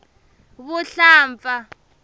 vuhlampfa